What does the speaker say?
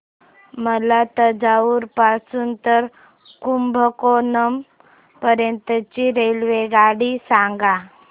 मला तंजावुर पासून तर कुंभकोणम पर्यंत ची रेल्वेगाडी सांगा